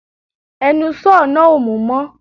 Ẹnu sọ́ọ̀ náà ò mú mọ̀